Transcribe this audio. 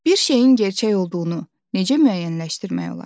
Bir şeyin gerçək olduğunu necə müəyyənləşdirmək olar?